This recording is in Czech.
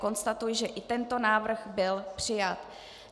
Konstatuji, že i tento návrh byl přijat.